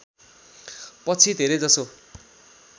पछि धेरैजसो